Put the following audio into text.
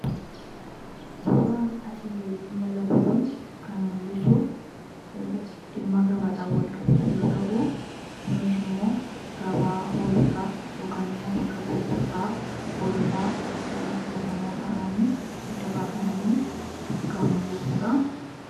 suuraan asiin gaditti mul'atu kun kan mul'isu dhimma gabaadha wal qabatu yoo ta'u gunis immoo gabaa holotaa yokan immoo bakka gurgurtaa hoolotaa filatamuo ta’anii addabaafamanii duka mul'isuudha